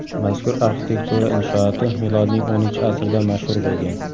Mazkur arxitektura inshooti milodning X asridan mashhur bo‘lgan.